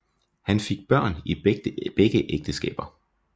Han fik børn i begge ægteskaber